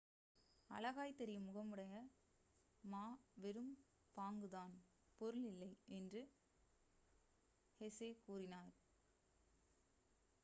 அழகாய்த் தெரியும் முகமுடைய மா வெறும் பாங்குதான் பொருள் இல்லை என்றும் ஹெசே கூறினார்